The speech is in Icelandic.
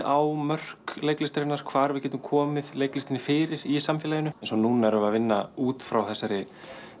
á mörk leiklistarinnar hvar við getum komið leiklistinni fyrir í samfélaginu núna erum við að vinna út frá þessari